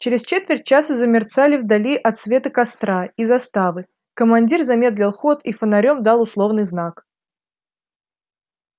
через четверть часа замерцали вдали отсветы костра у заставы командир замедлил ход и фонарём дал условный знак